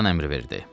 kapitan əmr verdi.